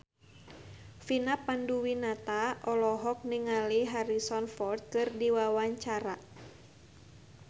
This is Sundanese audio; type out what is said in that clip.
Vina Panduwinata olohok ningali Harrison Ford keur diwawancara